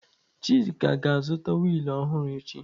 Chika ga-azụta wiil ọhụrụ echi.